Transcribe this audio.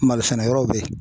Malosɛnɛyɔrɔw bɛ yen.